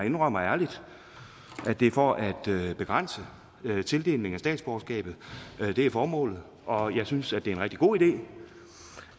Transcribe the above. indrømmer ærligt at det er for at begrænse tildeling af statsborgerskab det er formålet og jeg synes det er en rigtig god idé